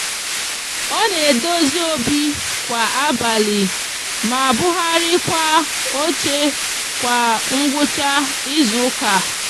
o n'edozi obi kwa abali ma buharikwa oche kwa ngwucha izuuka